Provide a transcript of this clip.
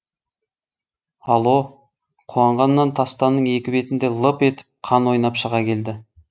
алло қуанғаннан тастанның екі бетінде лып етіп қан ойнап шыға келді